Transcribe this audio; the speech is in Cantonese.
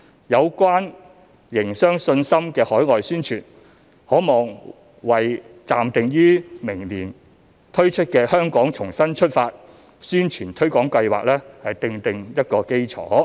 有關營商信心的海外宣傳，可望為暫定於明年推出的"香港重新出發"宣傳推廣計劃奠定基礎。